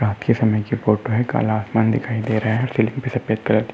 रात के समय का फोटो है। काला आसमान दिखाई दे रहा है। --